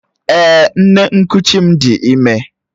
Èè, nne nkuchi m di ime.